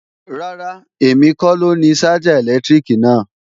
Rárá, èmi kọ lóni ṣájà ẹ̀lẹ́tíríkì náà